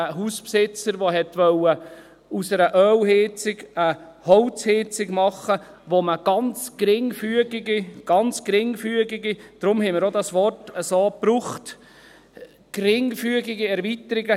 ein Hausbesitzer, der aus einer Ölheizung eine Holzheizung machen wollte, wo man ganz geringfügige – deshalb haben wir dieses Wort auch so gebraucht – Erweiterungen zulässig gemacht werden.